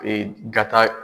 Ee gata